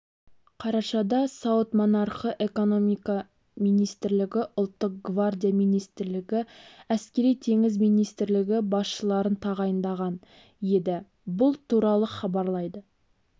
қарашада сауд монархы экономика министрлігі ұлттық гвардия министрлігі әскери-теңіз министрлігі басшыларын тағайындаған еді бұл туралы хабарлайды